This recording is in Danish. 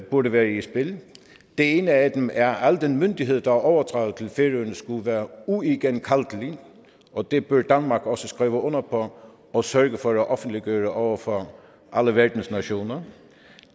burde være i spil en af dem er at al den myndighed der er overdraget til færøerne skulle være uigenkaldelig og det bør danmark også skrive under på og sørge for at offentliggøre over for alle verdens nationer